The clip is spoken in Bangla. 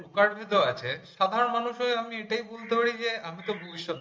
সাধারণ মানুষের আমি এটাই বুঝতে পারছি। আমি তো ভবিষ্যৎ